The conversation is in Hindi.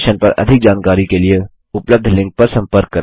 इस मिशन पर अधिक जानकारी के लिए उपलब्ध लिंक पर संपर्क करें